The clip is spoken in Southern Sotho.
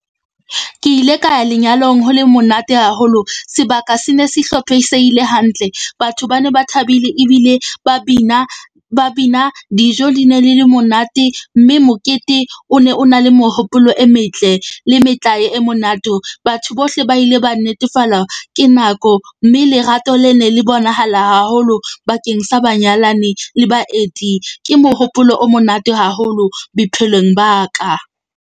Ke ile ka ya lenyalong ho le monate haholo, sebaka se ne se hlophisehile hantle. Batho ba ne ba thabile ebile ba bina ba bina dijo di ne le le monate mme mokete o ne o na le mehopolo e metle le metlae e monate. Batho bohle ba ile ba netefalwa ke nako mme lerato le ne le bonahala haholo bakeng sa banyalani le baeti. Ke mohopolo o monate haholo bophelong ba ka.